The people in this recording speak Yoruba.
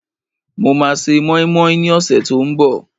Mo máa se mọ́ínmọ́ín ní ọ̀sẹ̀ tí ó ń bọ̀